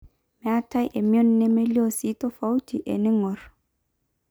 meeta emion nemelio sii tofauti eniing'or